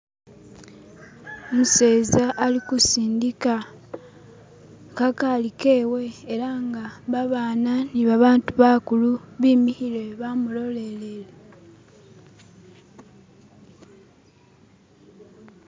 Umuseza ali ku sindika kagali kewe ela nga babaana ni babandu bakulu bimikhile bamulolelele